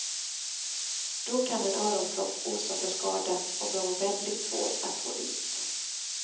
Då kan en öronpropp orsaka skada och vara väldigt svår att få ut.